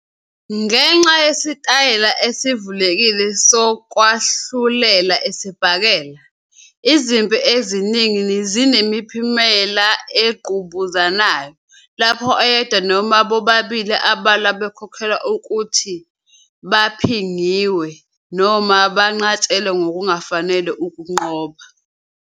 Ngenxa yesitayela esivulekile sokwahlulela isibhakela, izimpi eziningi zinemiphumela engqubuzanayo, lapho oyedwa noma bobabili abalwa bekholelwa ukuthi "baphangiwe" noma banqatshelwe ngokungafanele ukunqoba.